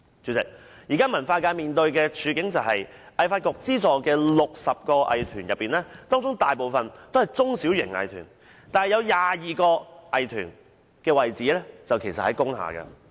主席，現時文化界面對的處境是，香港藝術發展局資助的60個藝團之中，大部分也是中小型藝團，有22個藝團的地址位於工廈。